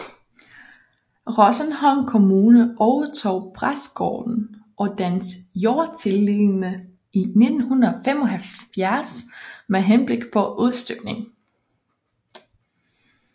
Rosenholm Kommune overtog præstegården og dens jordtilliggende i 1975 med henblik på udstykning